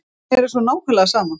Mér er svo nákvæmlega sama.